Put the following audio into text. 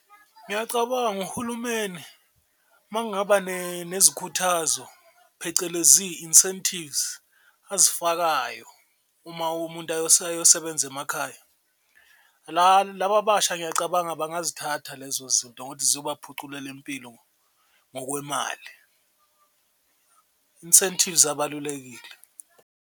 Ngiyacabanga uhulumeni makungaba nezikhuthazo phecelezi incentives azifakayo uma umuntu ayosebenza emakhaya, laba abasha ngiyacabanga bangazithatha lezo zinto ngokuthi ziyobaphuculela impilo ngokwemali, incentives abalulekile.